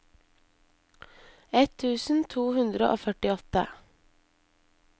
ett tusen to hundre og førtiåtte